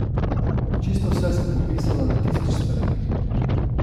Čisto vse sem popisala na tisoč straneh.